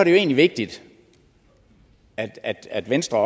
egentlig vigtigt at at venstre